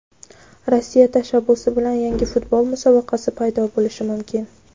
Rossiya tashabbusi bilan yangi futbol musobaqasi paydo bo‘lishi mumkin.